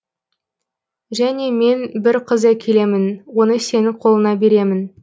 және мен бір қыз әкелемін оны сенің қолыңа беремін